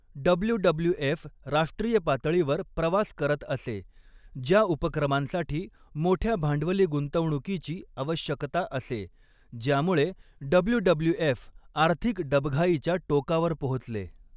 WWF. राष्ट्रीय पातळीवर प्रवास करत असे, ज्या उपक्रमांसाठी मोठ्या भांडवली गुंतवणुकीची आवश्यकता असे, ज्यामुळे डब्लू.डब्लू.एफ. आर्थिक डबघाईच्या टोकावर पोहोचले.